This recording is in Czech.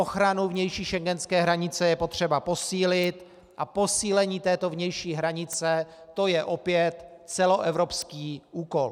Ochranu vnější schengenské hranice je potřeba posílit a posílení této vnější hranice, to je opět celoevropský úkol.